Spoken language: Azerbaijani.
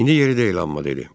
İndi yeridə bilmədi dedi.